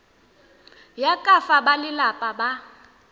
ya ka fa balelapa ba